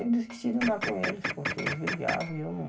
Eu desisti de andar com eles, porque eles brigavam e eu não.